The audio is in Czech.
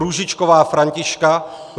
Růžičková Františka